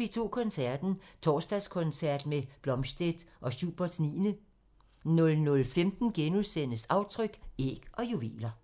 P2 Koncerten – Torsdagskoncert med Blomstedt og Schuberts 9 00:15: Aftryk – Æg og juveler *